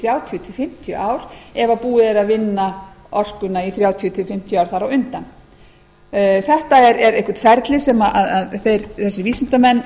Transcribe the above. þrjátíu til fimmtíu ár ef búið er að vinna orkuna í þrjátíu til fimmtíu ár þar á undan þetta er eitthvert ferli sem þessir vísindamenn